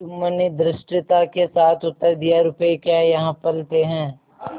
जुम्मन ने धृष्टता के साथ उत्तर दियारुपये क्या यहाँ फलते हैं